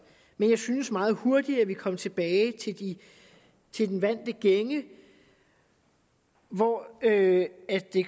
men jeg synes meget hurtigt at vi kom tilbage til de vante gænger hvor det